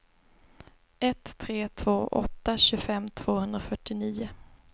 ett tre två åtta tjugofem tvåhundrafyrtionio